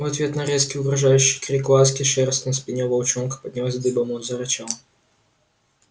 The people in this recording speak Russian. в ответ на резкий угрожающий крик ласки шерсть на спине у волчонка поднялась дыбом он зарычал